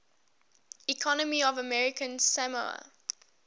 economy of american samoa